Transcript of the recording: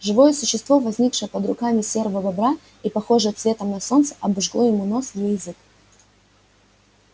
живое существо возникшее под руками серого бобра и похожее цветом на солнце обожгло ему нос и язык